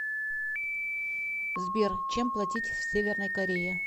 сбер чем платить в северной корее